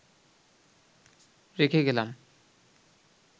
রেখে গেলাম